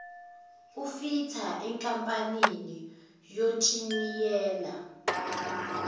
wufitha enkampanini yonjiniyela